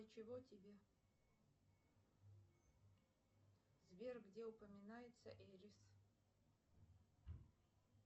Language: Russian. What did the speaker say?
и чего тебе сбер где упоминается эйрис